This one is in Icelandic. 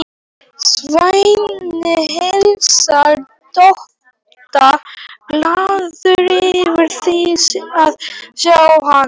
Svenni heilsar Dodda, glaður yfir því að sjá hann.